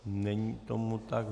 Není tomu tak.